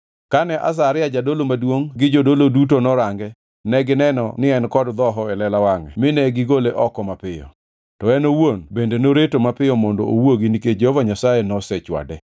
Kane Azaria jadolo maduongʼ gi jodolo duto norange, negineno ni en kod dhoho e lela wangʼe mine gigole oko mapiyo. To en owuon bende noreto mapiyo mondo owuogi nikech Jehova Nyasaye nosechwade.